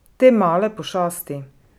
Te male pošasti...